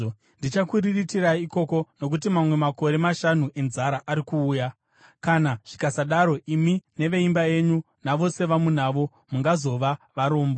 Ndichakuriritirai ikoko, nokuti mamwe makore mashanu enzara ari kuuya. Kana zvikasadaro imi neveimba yenyu navose vamunavo mungazova varombo.’